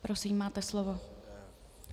Prosím, máte slovo.